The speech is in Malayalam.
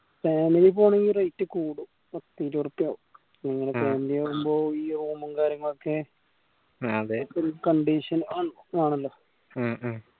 പോവൂ ആണെങ്കിൽ rate കൂടും പത്തിരുപത് ഉറുപ്പിയാവും ഉം ഈ വരുമ്പോ ഈ road ഉം കാര്യങ്ങളൊക്കെ ഉം അതെ ഒരു condition ആണല്ലോ ഉം